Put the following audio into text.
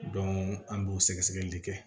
an b'o sɛgɛsɛgɛli de kɛ